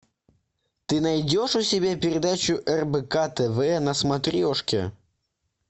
ты найдешь у себя передачу рбк тв на смотрешке